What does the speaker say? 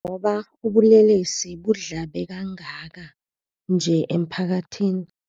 Njengoba ubulelesi budlhabhe kangaka nje emphakathini